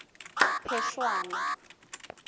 phešwana